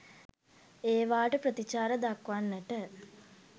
ඒවාට ප්‍රතිචාර දක්වන්නට